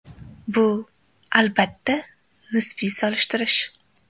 Bu, albatta, nisbiy solishtirish.